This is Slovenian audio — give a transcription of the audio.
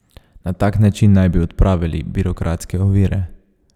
Na tak način naj bi odpravili birokratske ovire.